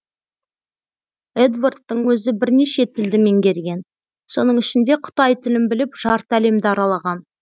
эдвардтың өзі бірнеше тілді меңгерген соның ішінде қытай тілін біліп жарты әлемді аралаған